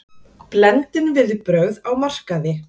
Blendin viðbrögð á markaði